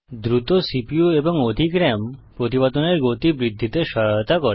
দ্রুত সিপিইউ এবং অধিক রাম প্রতিপাদনের গতি বৃদ্ধিতে সহায়তা করে